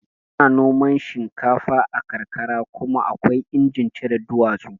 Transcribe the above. Ana noman shinkafa a karkara kuma akwai injin cire duwatsu